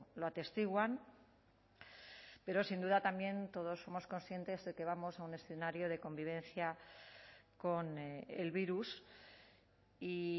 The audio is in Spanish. lo atestiguan pero sin duda también todos somos conscientes de que vamos a un escenario de convivencia con el virus y